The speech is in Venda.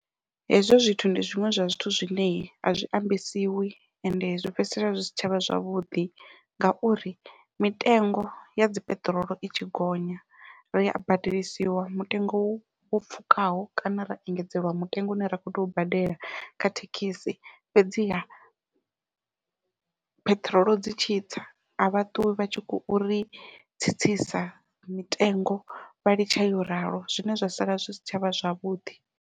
Hezwo zwithu ndi zwiṅwe zwa zwithu zwine azwi ambesiwi ende zwi fhedzisela zwi si tshavha zwavhuḓi, ngauri mitengo yadzi peṱirolo i tshi gonya ria badelisiwa mutengo wo pfhukaho kana ra engedzeliwa mutengo une ra kho tea u badela kha thekhisi fhedziha pheṱhirolo dzi tshitsa a vha ṱuwi vha tshi khou ri tsitsisa mitengo vha litsha yo ralo zwine zwa sala zwi si tshavha zwavhuḓi.